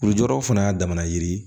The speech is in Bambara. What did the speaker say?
Lujuraw fana y'a damana yiri